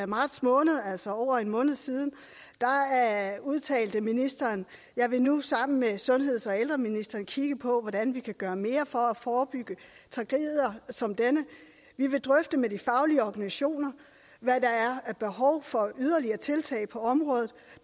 marts måned altså for over en måned siden udtalte ministeren jeg vil nu sammen med sundheds og ældreministeren kigge på hvordan vi kan gøre mere for at forebygge tragedier som denne vi vil drøfte med de faglige organisationer hvad der er af behov for yderligere tiltag på området